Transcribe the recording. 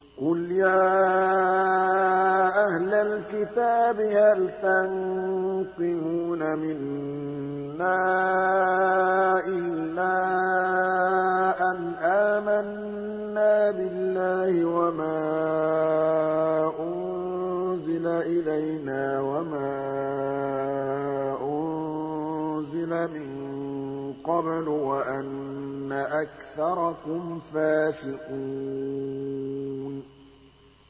قُلْ يَا أَهْلَ الْكِتَابِ هَلْ تَنقِمُونَ مِنَّا إِلَّا أَنْ آمَنَّا بِاللَّهِ وَمَا أُنزِلَ إِلَيْنَا وَمَا أُنزِلَ مِن قَبْلُ وَأَنَّ أَكْثَرَكُمْ فَاسِقُونَ